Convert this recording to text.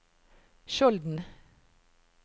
Skjolden